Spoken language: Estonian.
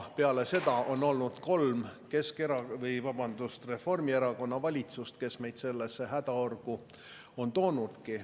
Peale seda on olnud kolm Reformierakonna valitsust, kes ongi meid sellesse hädaorgu toonud.